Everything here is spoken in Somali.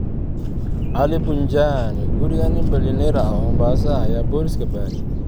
Ali Punjani: Guriga nin bilyaneer ah oo Mombasa ah ayaa boolisku baaray